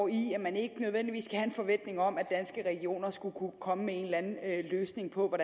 i at man ikke nødvendigvis kan have en forventning om at danske regioner skulle kunne komme med en eller anden løsning på